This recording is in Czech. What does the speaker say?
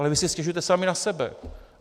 Ale vy si stěžujete sami na sebe.